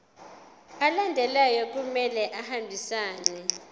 alandelayo kumele ahambisane